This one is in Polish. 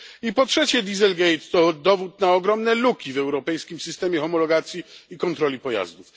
I po trzecie, dieselgate to dowód na ogromne luki w europejskim systemie homologacji i kontroli pojazdów.